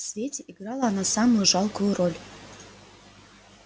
в свете играла она самую жалкую роль